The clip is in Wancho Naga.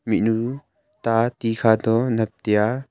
mihnyu ta tikha to nap teya.